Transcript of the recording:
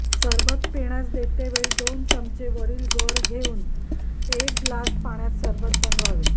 सरबत पिण्यास देते वेळी दोन चमचे वरील गर घेऊन एक ग्लास पाण्यात सरबत बनवावे